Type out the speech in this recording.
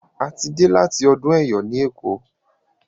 a tí dey láti ọdún eyọ ní eko